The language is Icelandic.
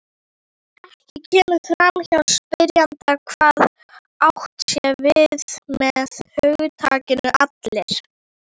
Ekki kemur fram hjá spyrjanda hvað átt sé við með hugtakinu allir.